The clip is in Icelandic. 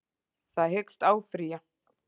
Það hyggst áfrýja